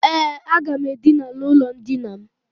E, aga m Edina n' ulo ndina m.